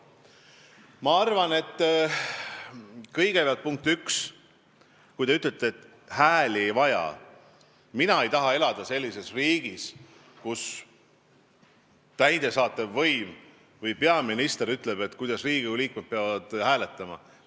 Ma arvan, kõigepealt, punkt 1, kui teie ütlete, et hääli ei vajata, siis mina ei taha elada sellises riigis, kus täidesaatev võim või peaminister ütleb, kuidas Riigikogu liikmed peavad hääletama.